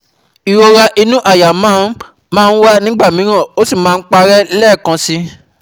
Ìrora inú àyà máa ń máa ń wá nígbà mìíràn ó sì máa ń parẹ́ lẹ́ẹ̀kan síi